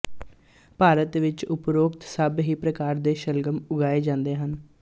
ਭਾਰਤ ਵਿੱਚ ਉਪਰੋਕਤ ਸਭ ਹੀ ਪ੍ਰਕਾਰ ਦੇ ਸ਼ਲਗਮ ਉਗਾਏ ਜਾਂਦੇ ਹਨ